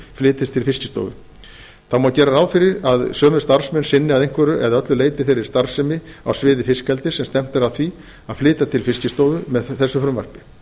flytjist til fiskistofu gera má ráð fyrir að sömu starfsmenn sinni að einhverju eða öllu leyti þeirri starfsemi á sviði fiskeldis sem stefnt er að því að flytja til fiskistofu með þessu frumvarpi